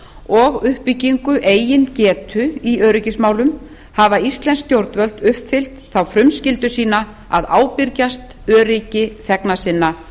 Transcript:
og uppbyggingu eigin getu í öryggismálum hafa íslensk stjórnvöld uppfyllt þá frumskyldu sínu að ábyrgjast öryggi þegna sinna